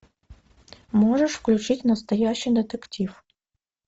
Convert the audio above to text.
можешь включить настоящий детектив